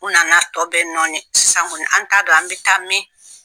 U nana tɔ bɛ nɔni sisan kɔni an t'a don an bɛ taa min